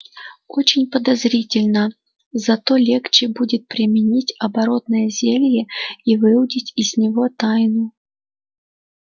очень подозрительно зато легче будет применить оборотное зелье и выудить из него тайну